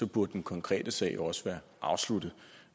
burde den konkrete sag også være afsluttet